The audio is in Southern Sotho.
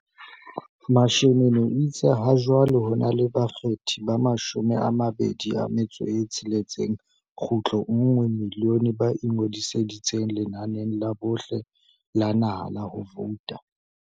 Mashinini o itse hajwale ho na le bakgethi ba 26.1 milione ba ingodisitseng lenaneng la bohle la naha la ho vouta.